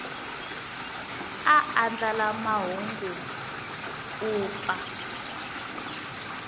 a andlala mahungu u pfa